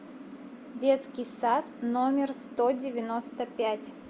детский сад номер сто девяносто пять